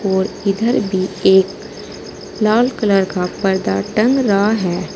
और इधर भी एक लाल कलर का पर्दा टंग रहा है।